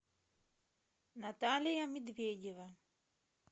наталья медведева